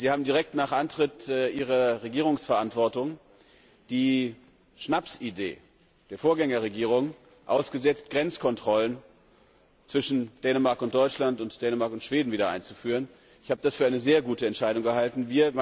Sie haben direkt nach Antritt Ihrer Regierungsverantwortung die Schnapsidee der Vorgängerregierung ausgesetzt, Grenzkontrollen zwischen Dänemark und Deutschland und zwischen Dänemark und Schweden wieder einzuführen. Ich habe das für eine sehr gute Entscheidung gehalten.